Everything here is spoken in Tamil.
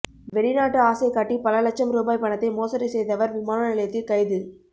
வெளிநாட்டு ஆசை காட்டி பல இலட்சம் ரூபாய் பணத்தை மோசடி செய்தவர் விமான நிலையத்தில் கைது